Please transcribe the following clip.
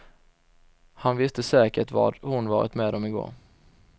Han visste säkert vad hon varit med om i går.